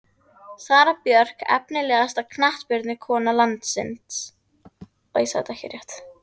Sara Björk Efnilegasta knattspyrnukona landsins?